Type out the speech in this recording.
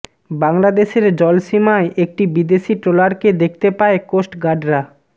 বাংলাদেশের জলসীমায় একটি বিদেশি ট্রলারকে দেখতে পায় কোস্ট গার্ডরা